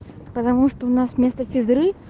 потому что у нас вместо физры